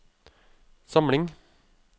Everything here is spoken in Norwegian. samling